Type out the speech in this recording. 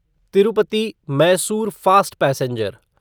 Tirupati Mysore fast passenger